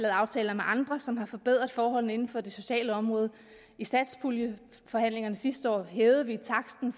aftaler med andre som har forbedret forholdene inden for det sociale område i satspuljeforhandlingerne sidste år hævede vi taksten